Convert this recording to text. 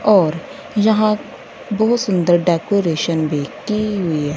और यहां बहुत सुंदर डेकोरेशन भी की हुई है।